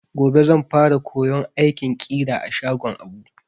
Gobe zan fara koyon aikin ƙira a shagon Abu.